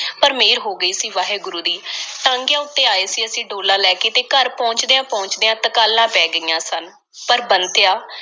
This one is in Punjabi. ਪਰ ਮਿਹਰ ਹੋ ਗਈ ਸੀ, ਵਾਹਿਗੁਰੂ ਦੀ। ਟਾਂਗਿਆਂ ਉੱਤੇ ਆਏ ਸੀ ਅਸੀਂ ਡੋਲਾ ਲੈ ਕੇ, ਤੇ ਘਰ ਪਹੁੰਚਦਿਆਂ-ਪਹੁੰਚਦਿਆਂ ਤਕਾਲਾਂ ਪੈ ਗਈਆਂ ਸਨ। ਪਰ, ਬੰਤਿਆ,